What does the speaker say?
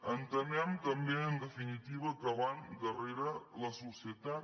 entenem també en definitiva que van darrere la societat